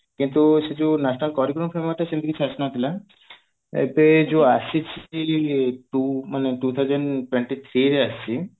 କିନ୍ତୁ ସେ ଯୋଉ national curriculum ସେମିତି କିଛି ଆସି ନଥିଲା ଏବେ ଯୋଉ ଆସିଛି ମାନେ two thousand twenty three ରେ ଆସିଛି